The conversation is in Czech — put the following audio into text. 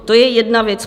To je jedna věc.